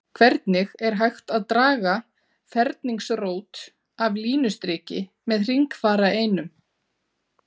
Hvernig er hægt að draga ferningsrót af línustriki með hringfara einum?